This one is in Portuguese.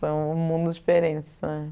São mundos diferentes.